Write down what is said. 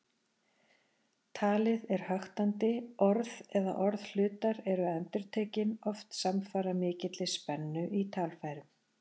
Talið er höktandi, orð eða orðhlutar eru endurtekin, oft samfara mikilli spennu í talfærum.